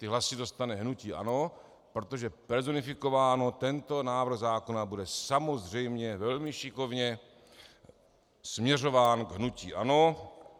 Ty hlasy dostane hnutí ANO, protože personifikováno, tento návrh zákona bude samozřejmě velmi šikovně směřován k hnutí ANO.